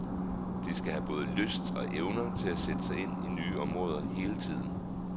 De skal have både lyst og evner til at sætte sig ind i nye områder hele tiden.